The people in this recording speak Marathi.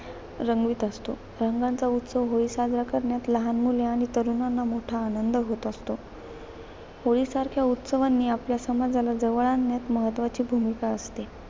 रंगवीत असतो. रंगांचा उत्सव होळी, साजरा करण्यात, लहान मुले आणि तरुणांना मोठा आनंद होत असतो. होळीसारख्या उत्सवांनी आपल्या समाजाला जवळ आणण्यात महत्वाची भूमिका असते.